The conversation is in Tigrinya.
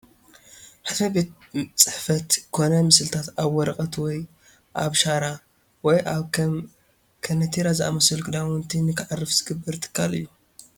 ሕትመት ቤት ፅሑፋት ኮኑ ምስልታት ኣብ ወረቐት ወይ ኣብ ሻራ፣ ወይ ኣብ ከም ከናቲራ ዝኣምሰሉ ክዳውንቲ ንክዓርፍ ዝገብር ትካል እዩ፡፡